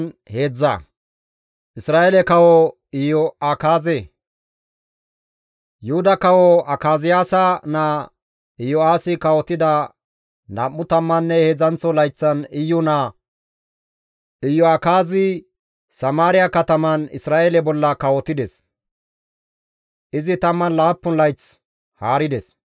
Yuhuda kawo Akaziyaasa naa Iyo7aasi kawotida nam7u tammanne heedzdzanththo layththan Iyu naa Iyo7akaazi Samaariya kataman Isra7eele bolla kawotides; izi 17 layth haarides.